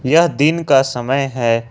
यह दिन का समय है।